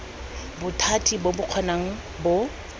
bothati bo bo kgonang bo